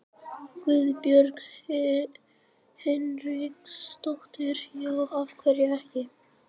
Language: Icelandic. Guðbjörg Hinriksdóttir: Já, af hverju ekki?